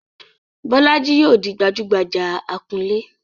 Bolaji yóò di gbajúgbajà akunlé.